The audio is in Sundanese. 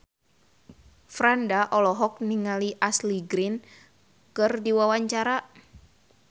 Franda olohok ningali Ashley Greene keur diwawancara